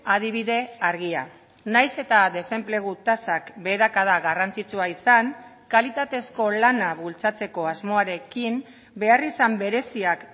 adibide argia nahiz eta desenplegu tasak beherakada garrantzitsua izan kalitatezko lana bultzatzeko asmoarekin beharrizan bereziak